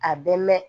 A bɛ mɛn